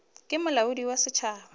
ke molaodi wa setšhaba wa